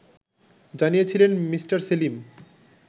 জানিয়েছিলেন মি. সেলিম